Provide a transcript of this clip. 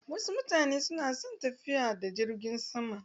Wasu mutane na son tafiya da jirgin sama.